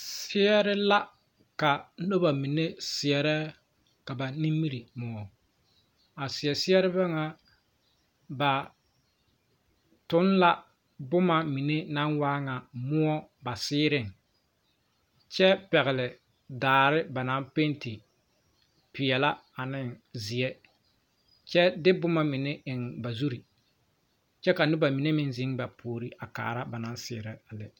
Seɛre la ka nobɔ mine seɛrɛ ka ba nimire moɔ a seɛ sɛrebɛ ŋa ba toŋ la bomma mine naŋ waa ŋa moɔ ba seerreŋ kyɛ pɛgle daare ba naŋ penti peɛɛlaa aneŋ zeɛ kyɛ de bomma mine eŋ ba zurre kyɛ ka noba mine meŋ zeŋ ba puore a kaara ba naŋ seɛrɛ a lɛ.